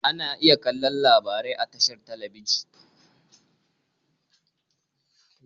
Ana iya kallo labarai a tashar talabijin.